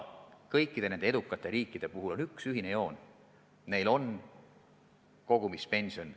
Kõikidel nendel edukatel riikidel on üks ühine joon: neil on kogumispension.